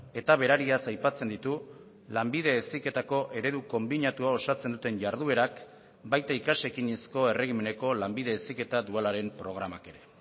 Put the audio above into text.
eta berariaz aipatzen ditu lanbide heziketako eredu konbinatua osatzen duten jarduerak baita ikas ekinezko erregimeneko lanbide heziketa dualaren programak ere